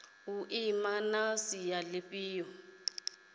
u ima na sia lifhio